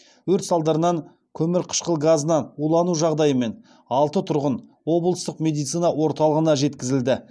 өрт салдарынан көмірқышқыл газына улану жағдайымен алты тұрғын облыстық медицина орталығына жеткізілді